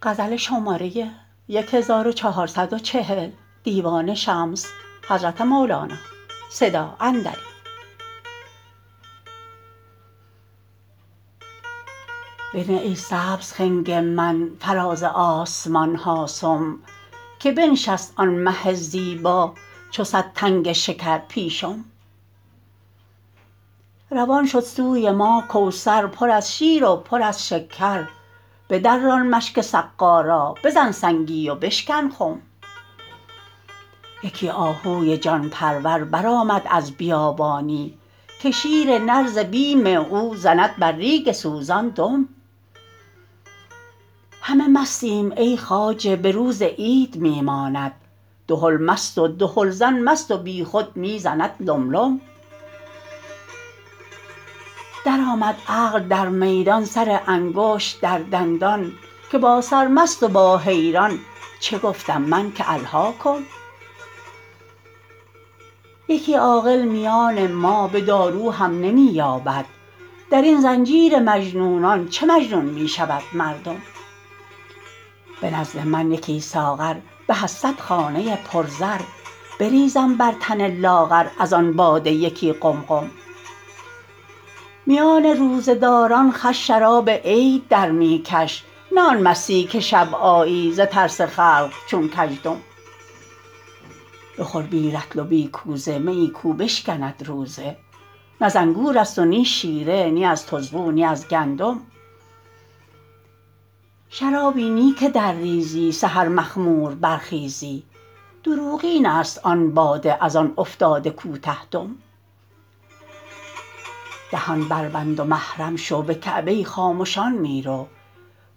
بنه ای سبز خنگ من فراز آسمان ها سم که بنشست آن مه زیبا چو صد تنگ شکر پیشم روان شد سوی ما کوثر پر از شیر و پر از شکر بدران مشک سقا را بزن سنگی و بشکن خم یکی آهوی جان پرور برآمد از بیابانی که شیر نر ز بیم او زند بر ریگ سوزان دم همه مستیم ای خواجه به روز عید می ماند دهل مست و دهلزن مست و بیخود می زند لم لم درآمد عقل در میدان سر انگشت در دندان که با سرمست و با حیران چه گفتم من که الهاکم یکی عاقل میان ما به دارو هم نمی یابد در این زنجیر مجنونان چه مجنون می شود مردم به نزد من یکی ساغر به از صد خانه پرزر بریزم بر تن لاغر از آن باده یکی قمقم میان روزه داران خوش شراب عید در می کش نه آن مستی که شب آیی ز ترس خلق چون کزدم بخور بی رطل و بی کوزه میی کو بشکند روزه نه ز انگورست و نی شیره نی از طزغو نی از گندم شرابی نی که درریزی سحر مخمور برخیزی دروغین است آن باده از آن افتاده کوته دم دهان بربند و محرم شو به کعبه خامشان می رو